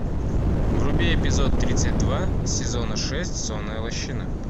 вруби эпизод тридцать два сезона шесть сонная лощина